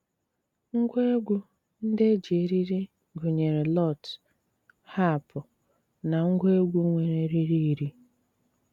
Ngwá égwú ndí é jí érírí gụ́néré lụ́t, hápú, ná ngwa égwú nwéré érírí írí.